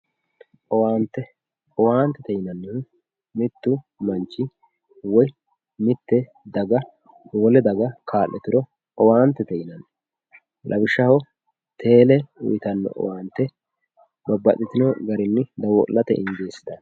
owaante owaantete yinanni mittu manchi woyi daga wole daga kaa'lituro owaantete yinanni lawishshaho teele uyiitanno owaante babbaxitino daninni dawo'late injeessitanno.